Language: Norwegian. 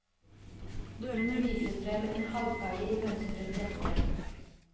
Hun viser frem en halvferdig mønstret jakke.